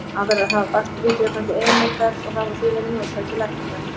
Aðrar hafa bakteríudrepandi eiginleika og hafa því verið notaðar til lækninga.